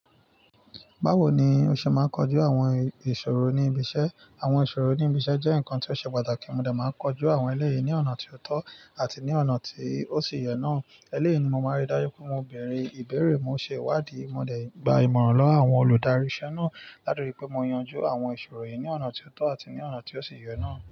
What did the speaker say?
Báwo ni o ṣe máa ń kojú àwọn ìṣòro ní ibi iṣẹ́? Àwọn ìṣòro ní ibi iṣẹ́ jẹ́ nǹkan tí ó ṣe pàtàkì, mo dà máa ń kojú àwọn ẹlẹ́yìí ní ọ̀nà tí ó tọ́ àti ní ọ̀nà tí ó sì yẹ náà. Eléyìí ni mo máa ń rí dájú pé mo bèèrè ìbéèrè, mo ṣe ìwádìí, mo dẹ̀ gba ìmọ̀ràn lọ́wọ́ àwọn olùdarí ìṣe náà. Látọ̀rí pé mo yanjú àwọn ìṣòro yìí ní ọ̀nà tí ó tọ́ àti ní ọ̀nà tí ó sì yẹ náà.